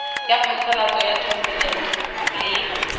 ya phasalatso ya thomelontle le